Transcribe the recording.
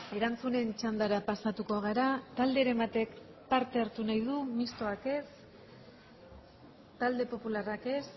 erantzunen txandara pasatuko gara talderen batek parte hartu nahi du mistoak ez talde popularrak ez